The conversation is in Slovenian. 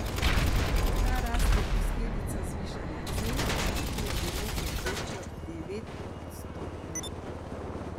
Ta rast je posledica zvišanja cen, ki je bilo v povprečju devetodstotno.